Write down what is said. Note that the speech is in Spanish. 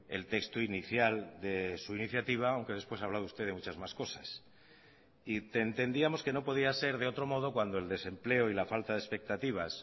el texto inicial de su iniciativa aunque después ha hablado usted de muchas más cosas y entendíamos que no podía ser de otro modo cuando el desempleo y la falta de expectativas